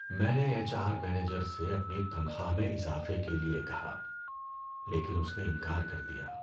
میں نے H R manager سے اپنی تنخواہ میں اضافے کے لیے کہا لیکن اس نے انکار کر دیا۔